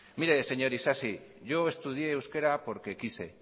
mire señor isasi yo estudié porque quise